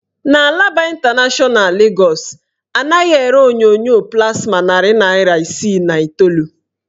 N' Alaba ịntanashọna Legọs, anaghị ere onyonyo plasma narị naịra isii na iteolu.